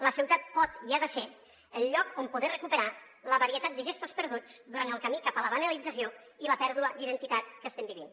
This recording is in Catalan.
la ciutat pot i ha de ser el lloc on poder recuperar la varietat de gestos perduts durant el camí cap a la banalització i la pèrdua d’identitat que estem vivint